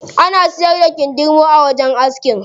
Ana siyar da kindirmo a wajen aski.